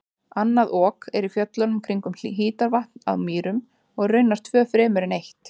Annað Ok er í fjöllunum kringum Hítarvatn á Mýrum og raunar tvö fremur en eitt.